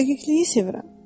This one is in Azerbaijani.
Dəqiqliyi sevirəm.